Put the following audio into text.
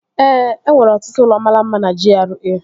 Ee, enwere ọtụtụ ụlọ mara mma na GRA